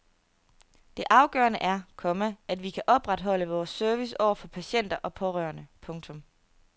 Det afgørende er, komma at vi kan opretholde vores service over for patienter og pårørende. punktum